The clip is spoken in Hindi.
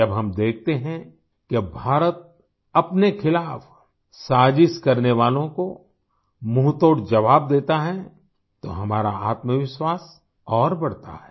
जब हम देखते हैं कि अब भारत अपने खिलाफ साज़िश करने वालों को मुंहतोड़ ज़वाब देता है तो हमारा आत्मविश्वास और बढ़ता है